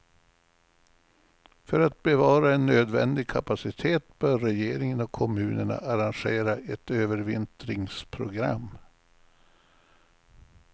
För att bevara en nödvändig kapacitet bör regeringen och kommunerna arrangera ett övervintringsprogram.